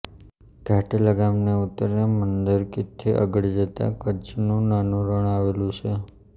ઘાંટીલા ગામની ઉત્તરે મંદરકીથી આગળ જતા કચ્છનું નાનું રણ આવેલ છે